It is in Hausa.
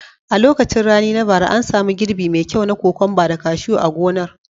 A lokacin rani na bara, an samu girbi me kyau na kokwamba da kashu a gonar.